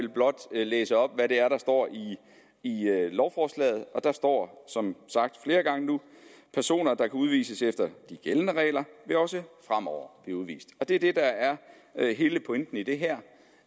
vil blot læse op hvad der der står i lovforslaget og der står som sagt flere gange at personer der kan udvises efter de gældende regler også fremover vil blive udvist det er er hele pointen i det her